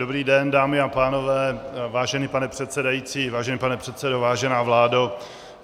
Dobrý den, dámy a pánové, vážený pane předsedající, vážený pane předsedo, vážená vládo.